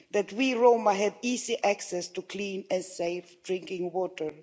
that we Roma have easy access to clean and safe drinking water